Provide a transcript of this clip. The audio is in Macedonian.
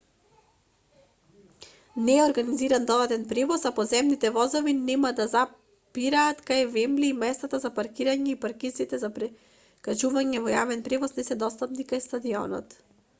не е организиран додатен превоз а подземните возови нема да запираат кај вембли и местата за паркирање и паркинзите за прекачување во јавен превоз не се достапни кај стадионот